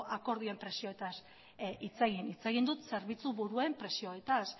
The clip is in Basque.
akordioen presioetaz hitz egin hitz egin dut zerbitzu buruen presioetaz